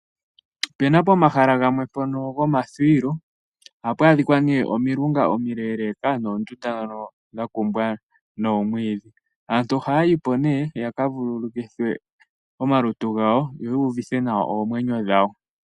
Ope na pomahala gamwe ngono gomathuwilo, ohapu a dhika omilunga omileleka noondunda dha kumbwa nomwiidhi. Aantu ohaya yi po ya ka vululukithe omalutu gawo yo yuuvithe nawa oomwenyo dhawo.